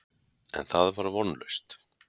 En það var vonlaust.